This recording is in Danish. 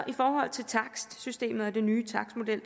i forhold til takstsystemet og den nye takstmodel